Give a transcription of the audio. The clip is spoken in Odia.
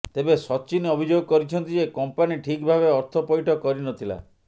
ତେବେ ସଚିନ ଅଭିଯୋଗ କରିଛନ୍ତି ଯେ କମ୍ପାନୀ ଠିକ ଭାବେ ଅର୍ଥ ପଇଠ କରିନଥିଲା